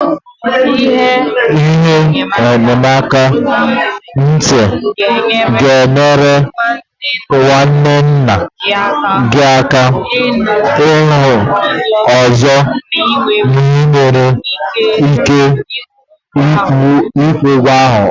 Ihe enyemaka ntị ga-enyere nwanne nna gị aka ịnụ ọzọ ma ị nwere ike ịkwụ ụgwọ ahụ.